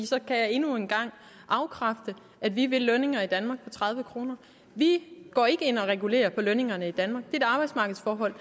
så kan jeg endnu en gang afkræfte at vi vil lønninger i danmark på tredive kroner vi går ikke ind og regulerer på lønningerne i danmark det et arbejdsmarkedsforhold